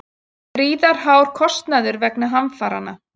Gríðarhár kostnaður vegna hamfaranna